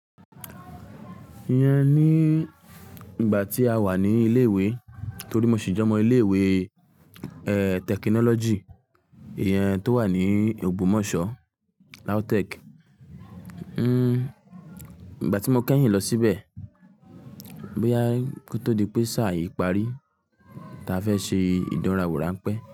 Ìyẹn ni ìgbà tí a wà ní ilé ìwé torí mo sì jọmọ ilé ìwé, tẹkinọ́lọ́jì, ìyẹn tó wà ní Ògbómọ̀ṣọ́, LAUTECH. Ìgbà tí mo kẹ́yìn lọ síbẹ̀, boya ko tó di pé sáà yìí parí, táa fẹ́ ṣe ìdánrawò ránpẹ́.